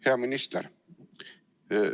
Hea minister!